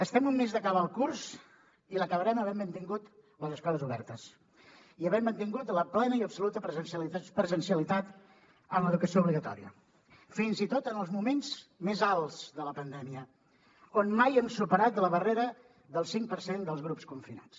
estem a un mes d’acabar el curs i l’acabarem havent mantingut les escoles obertes i havent mantingut la plena i absoluta presencialitat en l’educació obligatòria fins i tot en els moments més alts de la pandèmia on mai hem superat la barrera del cinc per cent dels grups confinats